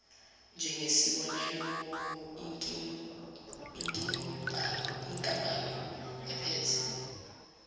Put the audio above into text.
njengesibonelo inkampani ephethe